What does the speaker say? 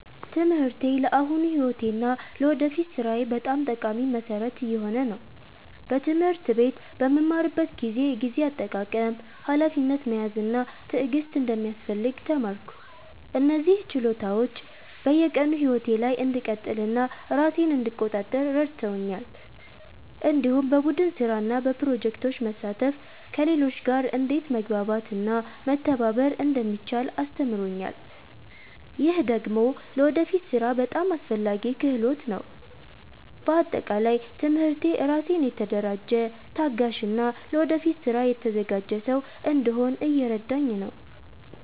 ትምህርቴ ለአሁኑ ሕይወቴ እና ለወደፊት ሥራዬ በጣም ጠቃሚ መሠረት እየሆነ ነው። በትምህርት ቤት በምማርበት ጊዜ የጊዜ አጠቃቀም፣ ሀላፊነት መያዝ እና ትዕግስት እንደሚያስፈልግ ተማርኩ። እነዚህ ችሎታዎች በየቀኑ ሕይወቴ ላይ እንድቀጥል እና ራሴን እንድቆጣጠር ረድተውኛል። እንዲሁም በቡድን ስራ እና በፕሮጀክቶች መሳተፍ ከሌሎች ጋር እንዴት መግባባት እና መተባበር እንደሚቻል አስተምሮኛል። ይህ ደግሞ ለወደፊት ሥራ በጣም አስፈላጊ ክህሎት ነው። በአጠቃላይ ትምህርቴ ራሴን የተደራጀ፣ ታጋሽ እና ለወደፊት ስራ የተዘጋጀ ሰው እንድሆን እየረዳኝ ነው።